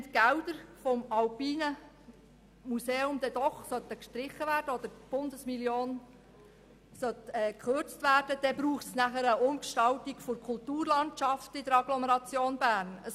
Wenn die Gelder des Alpinen Museums doch gestrichen würden oder die Bundesmillion gekürzt würde, wäre eine Umgestaltung der Kulturlandschaft in der Agglomeration Bern nötig.